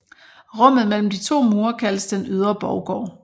Rummet mellem de to mure kaldes den ydre borggård